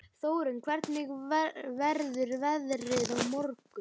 Þórinn, hvernig verður veðrið á morgun?